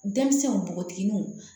Denmisɛnw nogotigininw